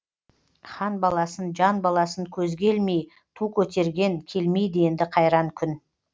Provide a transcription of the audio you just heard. хан баласын жан баласын көзге ілмей ту көтерген келмейді енді қайран күн